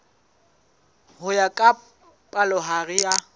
ho ya ka palohare ya